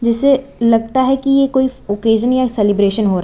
जैसे लगता है कि ये कोई ओकेशन या सेलिब्रेशन हो रहा--